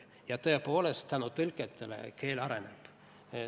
Aga tõepoolest, tänu tõlkijatele keel areneb.